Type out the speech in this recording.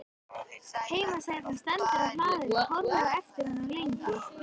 Heimasætan stendur á hlaðinu og horfir á eftir honum lengi.